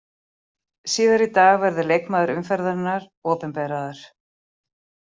Síðar í dag verður leikmaður umferðarinnar opinberaður.